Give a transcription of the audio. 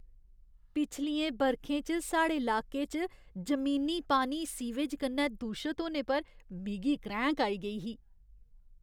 पिछलियें बरखें च साढ़े लाके च जमीनी पानी सीवेज कन्नै दूशत होने पर मिगी क्रैंह्क आई गेई ही।